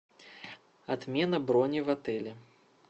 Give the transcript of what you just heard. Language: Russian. отмена брони в отеле